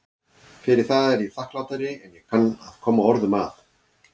Fyrir það er ég þakklátari en ég kann að koma orðum að.